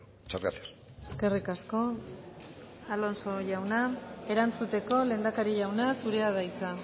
muchas gracias eskerrik asko alonso jauna erantzuteko lehendakari jauna zurea da hitza